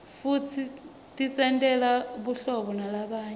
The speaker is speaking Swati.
futsi tisentela buhlabo nalabanye